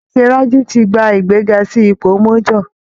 Captain Rájí ti gba ìgbéga sí ipò major